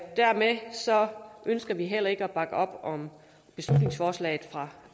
og dermed ønsker vi heller ikke at bakke op om beslutningsforslaget fra